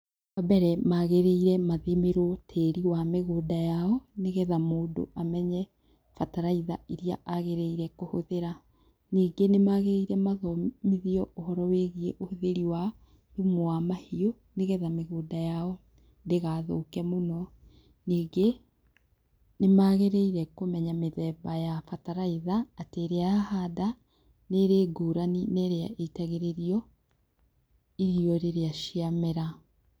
Wa mbere maagĩrĩire mathimĩrwo tĩĩri wa mĩgũnda yao, nĩgetha mũndũ amenye bataraitha iria agĩrĩire kũhũthĩra. Ningĩ nĩ maagĩrĩire mathomithio ũhoro wĩgiĩ ũhũthĩri wa thumu wa mahiũ, nĩgetha mĩgũnda yao ndĩgathũke mũno. Ningĩ nĩ maagĩrĩire kũmenya mĩthemba ya bataraitha, atĩ ĩrĩa ya handa, nĩ ĩrĩ ngũrani na ĩrĩa iitagĩrĩrio iro rĩrĩa cia mera.